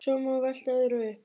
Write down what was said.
Svo má velta öðru upp.